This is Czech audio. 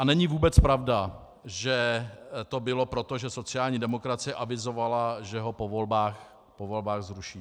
A není vůbec pravda, že to bylo proto, že sociální demokracie avizovala, že ho po volbách zruší.